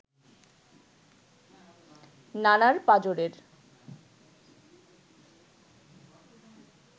নানার পাঁজরের